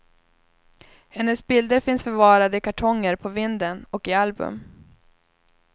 Hennes bilder finns förvarade i kartonger på vinden och i album.